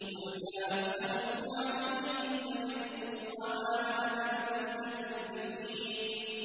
قُلْ مَا أَسْأَلُكُمْ عَلَيْهِ مِنْ أَجْرٍ وَمَا أَنَا مِنَ الْمُتَكَلِّفِينَ